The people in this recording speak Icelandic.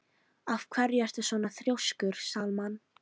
Af hverju ertu svona þrjóskur, Salmann?